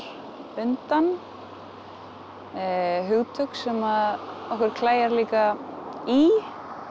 undan hugtök sem að okkur klæjar líka í